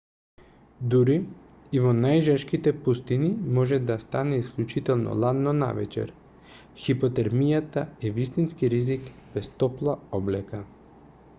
дури и во најжешките пустини може да стане исклучително ладно навечер хипотермијата е вистински ризик без топла облека